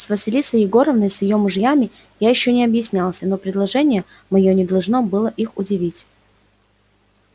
с василисой егоровной и с её мужем я ещё не объяснялся но предложение моё не должно было их удивить